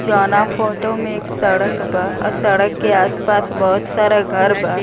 जोना फोटो में एक सड़क बा अ सड़क के आस-पास बहोत सारा घर बा।